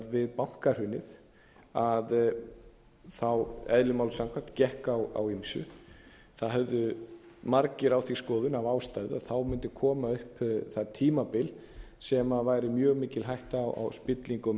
við bankahrunið eðli málsins samkvæmt gekk á ýmsu það höfðu margir á því skoðun af ástæðu að þá mundi koma upp það tímabil sem væri mjög mikil hætta á spillingu og